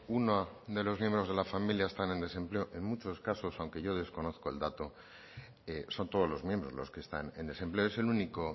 una de los miembros de la familia está en desempleo en muchos casos aunque no desconozca el dato son todos los miembros los que están en desempleo es el único